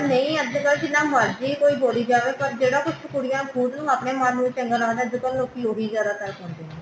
ਨਹੀਂ ਅੱਜਕਲ ਕੋਈ ਜਿੰਨਾ ਮਰਜੀ ਕੋਈ ਬੋਲੀ ਜਾਵੇ ਪਰ ਜਿਹੜਾ ਕੁੱਛ ਕੁੜੀਆਂ ਖੁਦ ਨੂੰ ਆਪਣੇ ਮਨ ਨੂੰ ਚੰਗਾ ਲੱਗਦਾ ਜਦੋਂ ਲੋਕੀ ਉਹ ਹੀ ਜਿਆਦਾਤਰ ਸੁਣਦੇ ਨੇ